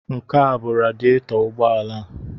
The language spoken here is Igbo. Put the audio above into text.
Nke a bụ radietọ ụgbọala a.